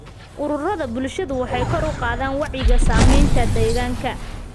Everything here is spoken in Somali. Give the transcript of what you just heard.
Ururada bulshadu waxay kor u qaadaan wacyiga saamaynta deegaanka.